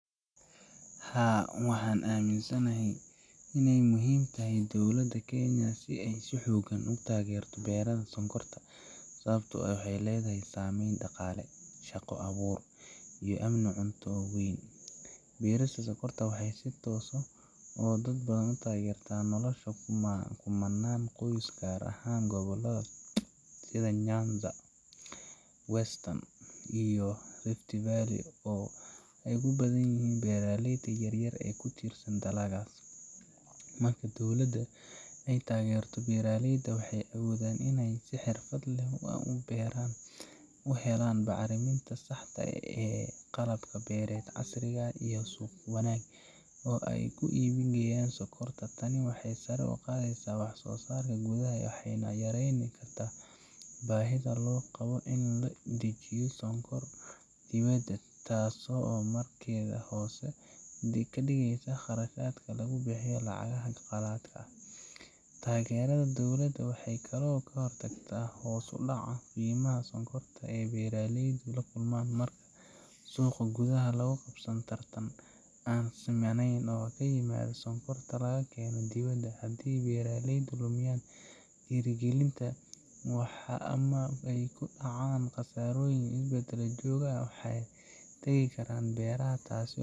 Haa, waxaan aaminsanahay in ay muhiim tahay in dowladda Kenya ay si xooggan u taageerto beeraha sonkorta, sababtoo ah waxay leedahay saameyn dhaqaale, shaqo-abuur, iyo amni cunto oo weyn. Beerista sonkorta waxay si toos ah iyo si dadbanba u taageertaa nolosha kumannaan qoys, gaar ahaan gobollada sida Nyanza, Western, iyo Rift Valley oo ay ku badan yihiin beeraleyda yar-yar ee ku tiirsan dalaggaas. Marka dowladda ay taageerto beeraleyda, waxay awoodaan in ay si xirfad leh u beeraan, u helaan bacriminta saxda ah, qalab beereed casri ah, iyo suuq wanaagsan oo ay ku iibgeeyaan sonkorta. Tani waxay sare u qaadaysaa wax-soosaarka gudaha, waxayna yareyn kartaa baahida loo qabo in la soo dejiyo sonkor dibadda ah, taasoo markeeda hoos u dhigaysa kharashaadka laga bixiyo lacagaha qalaadka ah Taageerada dowladda waxay kaloo ka hortagtaa hoos u dhaca qiimaha sonkorta ee beeraleydu la kulmaan marka suuqa gudaha lagu qasbo tartan aan simaneyn oo ka yimaada sonkorta la keeno dibadda. Haddii beeraleydu ay lumiyaan dhiirigelinta ama ay ku dhacaan khasaarooyin isdaba joog ah, waxay ka tagi karaan beeraha, taasoo